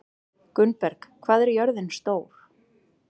Gunnberg, hvað er jörðin stór?